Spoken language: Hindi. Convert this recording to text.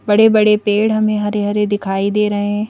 बड़े बड़े पेड़ हमें हरे हरे दिखाई दे रहे हैं।